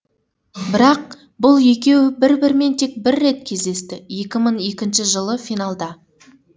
бірақ бұл екеуі бір бірімен тек бір рет кездесті екі мың екінші жылы финалда